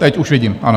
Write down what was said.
Teď už vidím, ano.